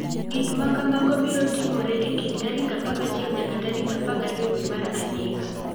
Gik ma kamago biro timore e kind tarik 11 nyaka 12 dwe mar adek.